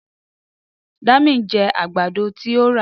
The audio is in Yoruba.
Dami ń jẹ àgbàdo tí ó rà.